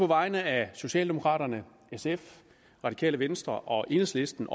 vegne af socialdemokraterne sf radikale venstre og enhedslisten